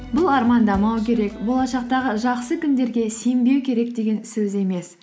бұл армандамау керек болашақтағы жақсы күндерге сенбеу керек деген сөз емес